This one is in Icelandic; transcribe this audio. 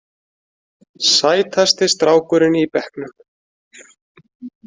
Sætasti strákurinn í bekknum.